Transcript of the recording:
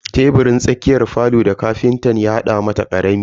Teburin tsakiyar falo da ƙafinta ya hada mata karami ne.